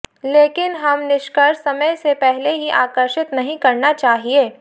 लेकिन हम निष्कर्ष समय से पहले ही आकर्षित नहीं करना चाहिए